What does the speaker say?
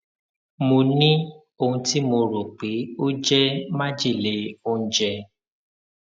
mo ní ohun tí mo rò pé ó jẹ májèlé oúnjẹ